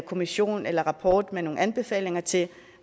kommission eller rapport med nogle anbefalinger til